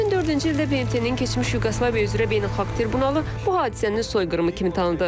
2004-cü ildə BMT-nin keçmiş Yuqoslaviyaya üzrə Beynəlxalq Tribunası bu hadisənin soyqırımı kimi tanıdı.